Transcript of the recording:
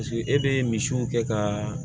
Paseke e bɛ misiw kɛ ka